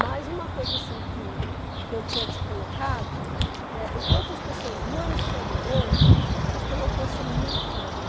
Mas uma coisa assim que que eu tinha te colocado, né, enquanto as pessoas não estão morando, elas têm uma força muito grande.